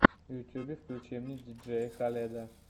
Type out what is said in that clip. в ютюбе включи мне диджея халеда